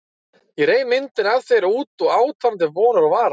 Ég reif myndina af þér út og át hana til vonar og vara.